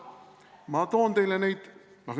Ma toon teile neid.